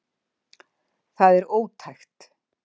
Það er ótækt